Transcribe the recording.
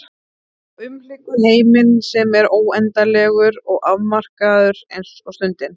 Og umlykur heiminn sem er óendanlegur og afmarkaður eins og stundin.